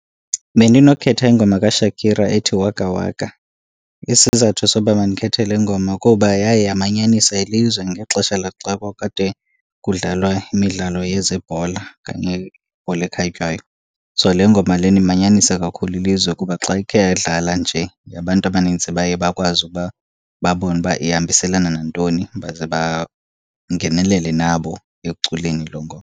Bendinokhetha ingoma kaShakira ethi Waka Waka. Isizathu soba mandikhethe le ngoma kuba yaye yamanyanisa ilizwe ngexesha laxa kwakukade kudlalwa imidlalo yezebhola okanye ibhola ekhatywayo. So le ngoma lena imanyanisa kakhulu ilizwe kuba xa ikhe yadlala nje abantu abanintsi baye bakwazi ukuba babone uba ihambiselana nantoni baze bangenelele nabo ekuculeni loo ngoma.